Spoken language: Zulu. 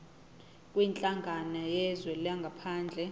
kwinhlangano yezwe langaphandle